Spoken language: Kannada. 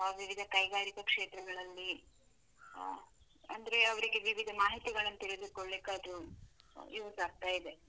ವಿವಿಧ ಕೈಗಾರಿಕಾ ಕ್ಷೇತ್ರಗಳಲ್ಲಿ, ಆ ಅಂದ್ರೆ ಅವ್ರಿಗೆ ವಿವಿಧ ಮಾಹಿತಿಗಳನ್ನು ತಿಳಿದುಕೊಳ್ಳಿಕ್ಕೆ ಅದು use ಆಗ್ತಾ ಇದೆ.